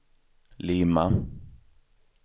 Lima